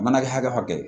A mana kɛ hakɛ hakɛ ye